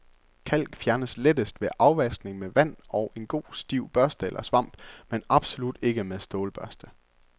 Kalk fjernes lettest ved afvaskning med vand og en god stiv børste eller svamp, men absolut ikke med stålbørste.